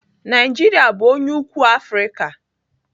Naijiria bụ onye ukwuu Afrịka.